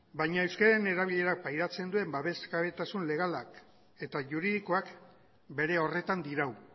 baina euskararen erabilerak pairatzen duen babesgabetasun legalak eta juridikoak bere horretan dirau